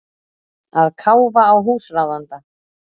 Að káfa á húsráðanda.